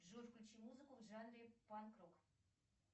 джой включи музыку в жанре панк рок